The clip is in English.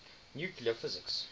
nuclear physics